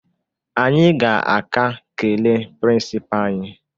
Anyị ga-aka kelee prịnsịpaa anyị